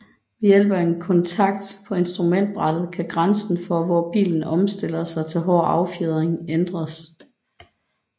Ved hjælp af en kontakt på instrumentbrættet kan grænsen for hvor bilen omstiller sig til hård affjedring ændres